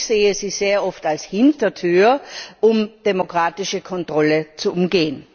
Ich sehe sie sehr oft als Hintertür, um demokratische Kontrolle zu umgehen.